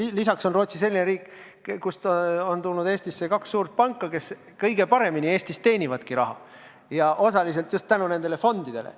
Ja veel on Rootsi selline riik, kust on tulnud Eestisse kaks suurt panka, kes meil kõige paremini raha teenivad, ja seda osaliselt ka tänu nendele fondidele.